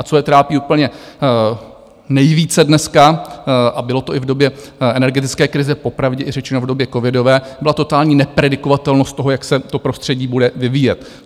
A co je trápí úplně nejvíce dneska - a bylo to i v době energetické krize, popravdě řečeno i v době covidové, byla totální nepredikovatelnost toho, jak se to prostředí bude vyvíjet.